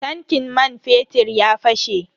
Tankin man fetir ya fashe.